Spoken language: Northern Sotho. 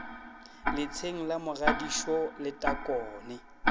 letsheng la mogadisho le takone